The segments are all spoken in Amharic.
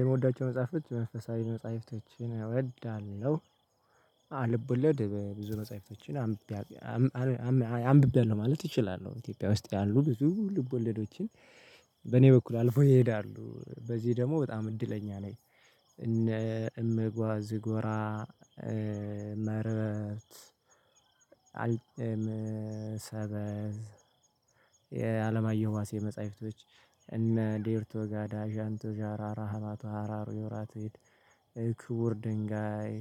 የምወዳቸው መጽሐፎች መንፈሳዊ መጽሐፍቶችን እወዳለሁ፤ አልቦለድ ብዙ መጽሐፎችን አንብቤያለሁ ማለት እችላለሁ ኢትዮጵያ ውስጥ ያሉ ብዙ ልቦለዶችን በእኔ በኩል አልፎ ይሄዳሉ በዚህ ደግሞ በጣም እድለኛ ነኝ እነ እመጓዝ ጎራ መርበት አልጠም ሰበዝ የአለማየሁ ዋሴ መጽሐፍቶች እነ ዴርቶ ጋዳ ዣንቶ ዣራራ ሀባቶ ሀራሩ የወራት እክቡር ድንጋይ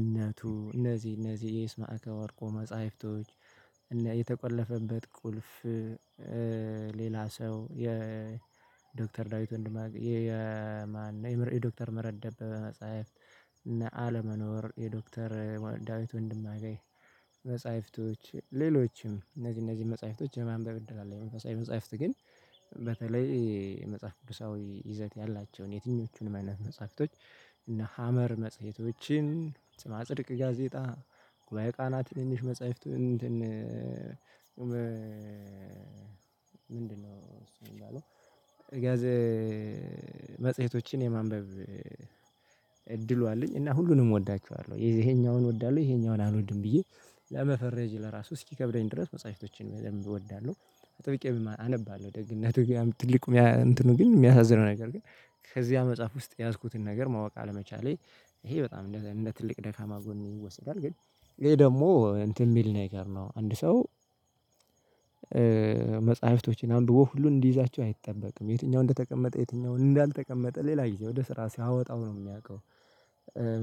እነቱ እነዚህ እነዚህ የስማአካ ወርቆ መጽሐፍቶች እና የተቆለፈበት ቁልፍ ሌላ ሰው የዶክተር ዳዊት ወንድማግ የማን የዶክተር ምህረት ደበበ መጽሐፍት እና አለመኖር የዶክተር ዳዊት ወንድማገኝ መጻይፍቶች ሌሎችም እነዚህ እነዚህ መጽሐፍቶች የማንበብ እድል አለኝ፤ መንፈሳዊ መጽሐፍት ግን በተለይ የመጽሐፍ ቅዱሳዊ ይዘት ያላቸውን የትኞቹን አይነት መጽሐፍቶች እነ ሀመር መጽሄቶችን ስምዓ ጽድቅ ጋዜጣ ጉባኤ ቃናት ትንንሽ መጽሐፍት እንትን ምንድነው እሱ የሚባለው ጋዜ መጽሄቶችን የማንበብ እድሉ አለኝ እና ሁሉንም እወዳቸዋለሁ ይሄኛውን እወዳለሁ ይሄኛውን አልወድም ብዬ ለመፈረጅ ለራሱ እስኪከብደኝ ድረስ መጽሐፍቶችን በደንብ እወዳለሁ አጥብቄ አነባለሁ ደግነቱ ጋር ትልቅ እንትኑ ግን የሚያሳዝነው ነገር ግን ከዚያ መጽሐፍ ውስጥ የያዝኩትን ነገር ማወቅ አለመቻሌ ይሄ በጣም እንደ ትልቅ ደካማ ጎን ይወሰዳል ግን ይሄ ደግሞ እንትን የሚል ነገር ነው አንድ ሰው መጽሐፍቶችን አንብቦ ሁሉ እንዲይዛቸው አይጠበቅም የትኛው እንደተቀመጠ የትኛው እንዳልተቀመጠ ሌላ ጊዜ ወደ ስራ ሲያወጣው ነው የሚያውቀው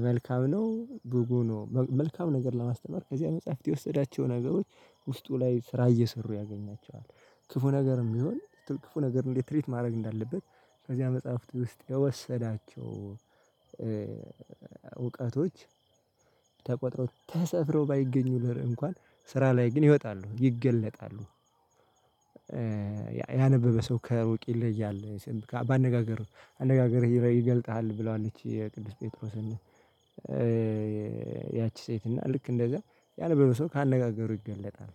መልካም ነው ቡጉ ነው መልካም ነገር ለማስተማር ከዚያ መጽሐፍት የወሰዳቸው ነገሮች ውስጡ ላይ ስራ እየሰሩ ያገኛቸዋል ክፉ ነገርም ቢሆን ክፉ ነገር እንዴት ትሪት ማድረግ እንዳለበት ከዚያ መጽሐፍት ውስጥ የወሰዳቸው እውቀቶች ተቆጥረው ተሰፍረው ባይገኙ እንኳን ስራ ላይ ግን ይወጣሉ ይገለጣሉ። ያነበበ ሰው ከሩቅ ይለያል በአነጋገር አነጋገርህ ይገልጥሃል ብለዋለች የቅዱስ ጴጥሮስን ያቺ ሴት እና ልክ እንደዛ ያነበበው ሰው ካነጋገሩ ይገለጣል